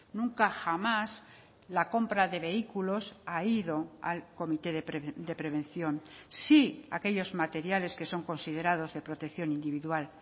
nunca jamás la compra de vehículos ha ido al comité de prevención sí aquellos materiales que son considerados de protección individual